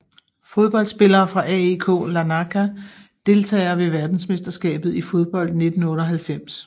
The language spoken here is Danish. Fodboldspillere fra AEK Larnaka Deltagere ved verdensmesterskabet i fodbold 1998